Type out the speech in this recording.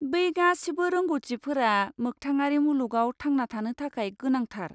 बै गासिबो रोंग'थिफोरा मोगथाङारि मुलुगाव थांना थानो थाखाय गोनांथार।